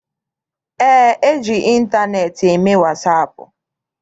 Eé, eji ịntaneetị eme wasaapụ.